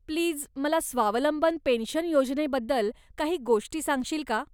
Please, मला स्वावलंबन pension योजनेबद्दल काही गोष्टी सांगशील का?